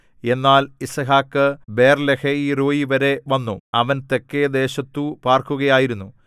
എന്നാൽ യിസ്ഹാക്ക് ബേർലഹയിരോയീവരെ വന്നു അവൻ തെക്കേദേശത്തു പാർക്കുകയായിരുന്നു